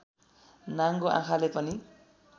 नाङ्गो आँखाले पनि